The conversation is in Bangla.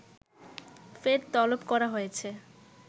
ফের তলব করা হয়েছে